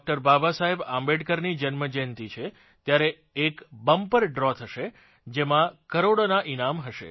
બાબા સાહેબ આંબેડકરની જન્મ જયંતિ છે ત્યારે એક બંપર ડ્રો થશે જેમાં કરોડોનાં ઇનામ હશે